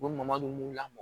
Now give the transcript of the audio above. U bɛ madu lamɔ